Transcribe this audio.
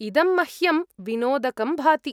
इदं मह्यं विनोदकं भाति।